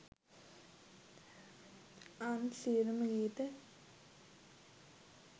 අන් සියළුම ගීත